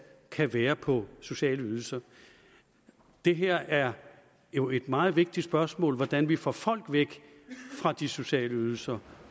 kan være på sociale ydelser det her er jo et meget vigtigt spørgsmål om hvordan vi får folk væk fra de sociale ydelser